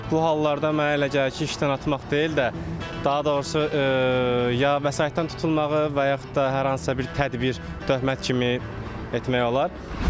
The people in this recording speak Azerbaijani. Bu hallarda mənə elə gəlir ki, işdən atmaq deyil də, daha doğrusu ya vəsaitdən tutulmağı və yaxud da hər hansısa bir tədbir döhmət kimi etmək olar.